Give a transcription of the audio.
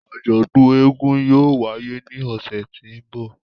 Àjọdun éégún yóò waye ni ọsẹ ti n bọ.